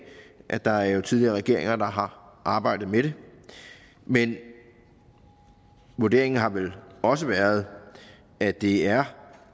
at der er tidligere regeringer der har arbejdet med det men vurderingen har vel også været at det er